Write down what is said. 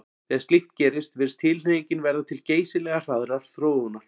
Þegar slíkt gerist virðist tilhneigingin verða til geysilega hraðrar þróunar.